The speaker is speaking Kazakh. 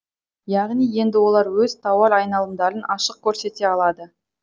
яғни енді олар өз тауар айналымдарын ашық көрсете алады